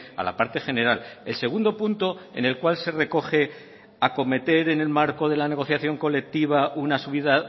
a la parte general el segundo punto en el cual se recoge acometer en el marco de la negociación colectiva una subida